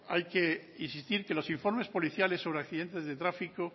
hay que insistir que los informes policiales sobre accidentes de tráfico